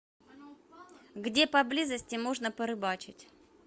где поблизости можно порыбачить